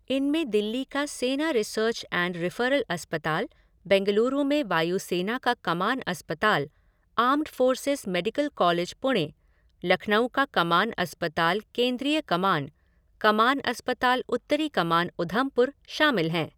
इनमें दिल्ली का सेना रिसर्च एंड रेफरल अस्पताल, बैंगलुरू में वायुसेना का कमान अस्पताल, armed forces medical college Pune, Lucknow का कमान अस्पताल केंद्रीय कमान, कमान अस्पताल उत्तरी कमान उधमपुर शामिल हैं।